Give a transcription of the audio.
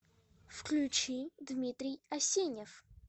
включи дмитрий асенев